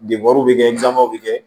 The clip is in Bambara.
bɛ kɛ nɔnɔ bɛ kɛ